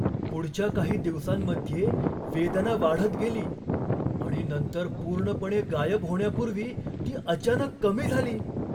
पुढच्या काही दिवसांमध्ये वेदना वाढत गेली आणि नंतर पूर्णपणे गायब होण्यापूर्वी ती अचानक कमी झाली!